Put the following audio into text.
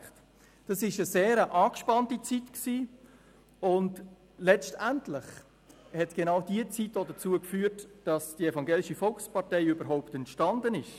Es war eine sehr angespannte Zeit, und letztendlich hat genau diese Zeit auch dazu geführt, dass die Evangelische Volkspartei überhaupt entstanden ist.